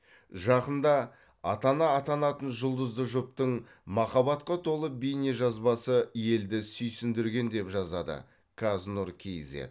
жақында ата ана атанатын жұлдызды жұптың махаббатқа толы бейнежазбасы елді сүйсіндірген деп жазады каз нұр кизед